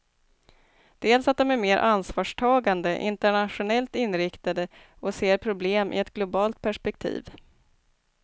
Dels att de är mer ansvarstagande, internationellt inriktade och ser problem i ett globalt perspektiv.